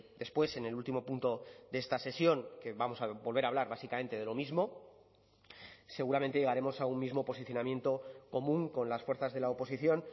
después en el último punto de esta sesión que vamos a volver a hablar básicamente de lo mismo seguramente llegaremos a un mismo posicionamiento común con las fuerzas de la oposición